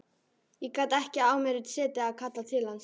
Ég gat ekki á mér setið að kalla til hans.